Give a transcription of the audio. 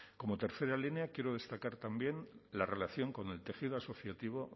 como tercera línea quiero destacar también la relación con el tejido asociativo